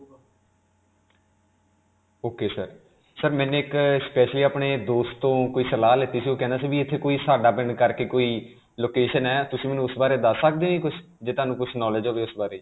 ok sir. sir ਮੈਂ specially ਆਪਣੇ ਦੋਸਤ ਤੋਂ ਕੋਈ ਸਲਾਹ ਲਿੱਤੀ ਸੀ. ਉਹ ਕਹਿੰਦਾ ਸੀ ਕਿ ਇਥੇ ਕੋਈ ਸਾਡਾ ਪਿੰਡ ਕਰਕੇ ਕੋਈ location ਹੈ. ਤੁਸੀਂ ਮੈਨੂੰ ਉਸ ਬਾਰੇ ਦਸ ਸਕਦੇ ਜੀ ਕੁਝ? ਜੇ ਤੁਹਾਨੂੰ ਕੁਝ knowledge ਹੋਵੇ ਉਸ ਬਾਰੇ.